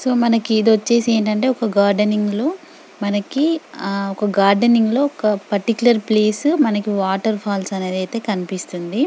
So మనకి ఇది వచ్చేసి ఏంటంటే ఓకే గార్డెనింగ్ల్లో మనకి అ ఓక గార్డెనింగ్ లో ఒక పర్టికులర్ ప్లేస్ మనకు వాటర్ఫాల్స్ అనేదయితే కనిపిస్తోంది.